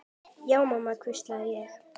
Já mamma, hvísla ég.